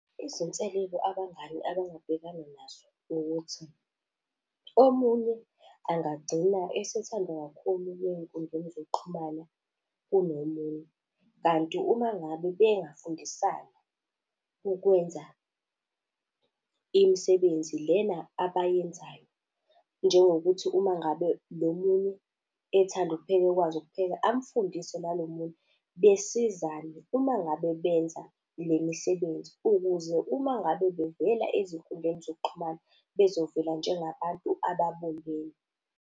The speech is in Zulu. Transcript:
Izinselelo abangani abangabhekana nazo ukuthi omunye angagcina esethandwa kakhulu ey'nkundleni zokuxhumana kunomunye. Kanti uma ngabe bengafundisana ukwenza imisebenzi lena abayenzayo njengokuthi uma ngabe lo munye ethanda ukupheka, ekwazi ukupheka, amfundise nalo munye besizane uma ngabe benza le misebenzi. Ukuze uma ngabe bevela ezinkundleni zokuxhumana, bezovela njengabantu ababumbene.